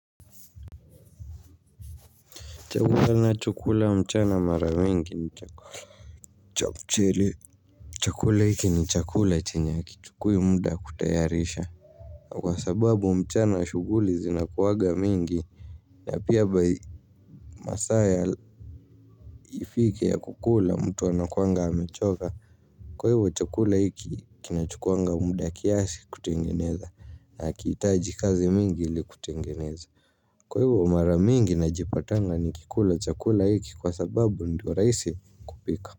Chakula ninacho kula mchana mara nyingi, chakula hiki ni chakula chenye hakichukui muda kutayarisha. Kwa sababu mchana shughuli zinakuwanga mingi. Na pia masaa yafike ya kukula mtu anakuwanga amechoka. Kwa hivyo chakula hiki kinachukuwanga muda kiasi kutengeneza na hakihitaji kazi mingi ili kutengeneza. Kwa hivyo mara mingi najipatanga nikikula chakula hiki kwa sababu ndio rahisi kupika.